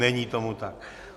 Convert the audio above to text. Není tomu tak.